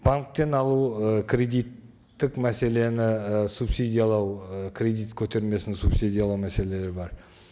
банктен алу ы кредиттік мәселені і субсидиялау і кредит көтермесін субсидиялау мәселелері бар